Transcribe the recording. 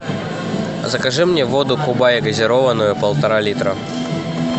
закажи мне воду кубай газированную полтора литра